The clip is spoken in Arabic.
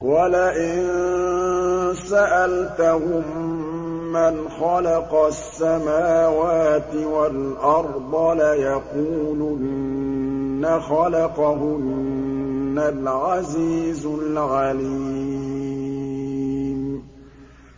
وَلَئِن سَأَلْتَهُم مَّنْ خَلَقَ السَّمَاوَاتِ وَالْأَرْضَ لَيَقُولُنَّ خَلَقَهُنَّ الْعَزِيزُ الْعَلِيمُ